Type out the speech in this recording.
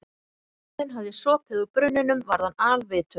Þegar Óðinn hafði sopið úr brunninum varð hann alvitur.